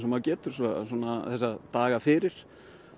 og maður getur þessa daga fyrir